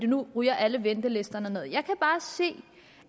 nu ryger alle ventelisterne nederst jeg kan bare se